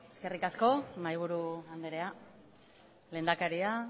eskerrik asko mahaiburu anderea lehendakaria